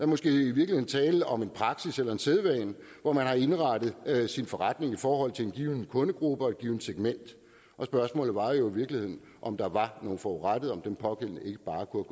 måske i virkeligheden tale om en praksis eller en sædvane hvor man har indrettet sin forretning i forhold til en given kundegruppe og et givent segment og spørgsmålet var jo i virkeligheden om der var en forurettet eller om den pågældende ikke bare kunne